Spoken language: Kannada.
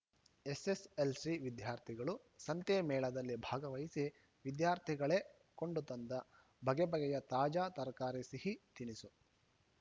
ಎಸ್‌ಎಸ್‌ಎಲ್‌ಸಿ ವಿದ್ಯಾರ್ಥಿಗಳು ಸಂತೆ ಮೇಳದಲ್ಲಿ ಭಾಗವಹಿಸಿ ವಿದ್ಯಾರ್ಥಿಗಳೇ ಕೊಂಡು ತಂದ ಬಗೆ ಬಗೆಯ ತಾಜಾ ತರಕಾರಿ ಸಿಹಿ ತಿನಿಸು